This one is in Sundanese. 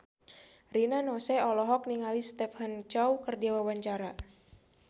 Rina Nose olohok ningali Stephen Chow keur diwawancara